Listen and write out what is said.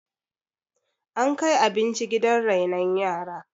ankai abinci gidan renon yaran?